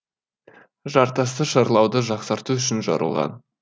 жартасты шарлауды жақсарту үшін жарылған